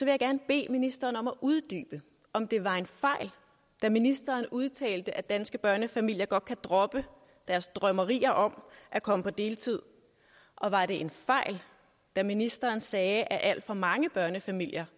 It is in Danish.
jeg gerne bede ministeren om at uddybe om det var en fejl da ministeren udtalte at danske børnefamilier godt kan droppe deres drømmerier om at komme på deltid og var det en fejl da ministeren sagde at alt for mange børnefamilier